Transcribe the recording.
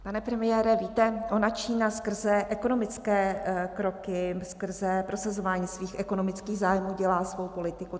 Pane premiére, víte, ona Čína skrze ekonomické kroky, skrze prosazování svých ekonomických zájmů dělá svou politiku.